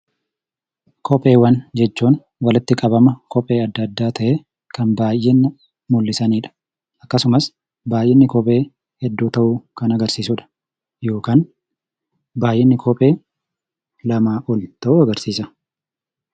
Kopheewwan jechuun walitti qabama kophee addaa addaa ta'ee kan baayyina mul'isanii dha. Innis baayyinni kophee hedduu ta'uu agarsiisa.